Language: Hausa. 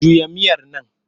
Juya miyar nan!